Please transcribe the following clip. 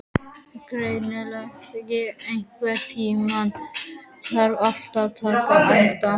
Grankell, einhvern tímann þarf allt að taka enda.